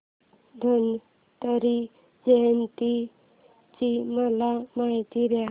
धन्वंतरी जयंती ची मला माहिती दे